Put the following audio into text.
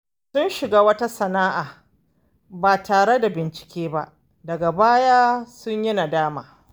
Sun shiga wata sana’a ba tare da bincike ba, daga baya sun yi nadama.